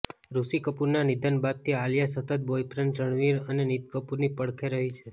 ઋષિ કપૂરના નિધન બાદથી આલિયા સતત બોયફ્રેન્ડ રણબીર અને નીતૂ કપૂરની પડખે રહી છે